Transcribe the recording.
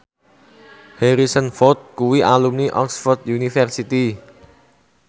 Harrison Ford kuwi alumni Oxford university